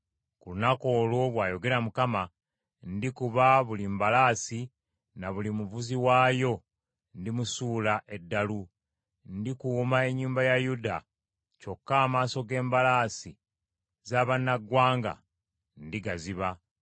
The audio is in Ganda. Ku lunaku olwo, bw’ayogera Mukama , ndikuba buli mbalaasi na buli muvuzi waayo ndimusuula eddalu. Ndikuuma ennyumba ya Yuda kyokka amaaso g’embalaasi za bannaggwanga ndigaziba.